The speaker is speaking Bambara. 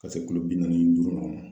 Ka se kilo bi naani ni duuru ɲɔgɔn ma.